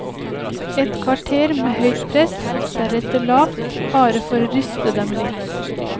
Et kvarter med høyt press, deretter lavt, bare for å ryste dem litt.